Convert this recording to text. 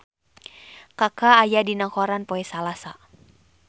Kaka aya dina koran poe Salasa